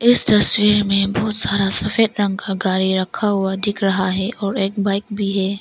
इस तस्वीर में बहुत सारा सफेद रंग का गाड़ी रखा हुआ दिख रहा है और एक बाइक भी है।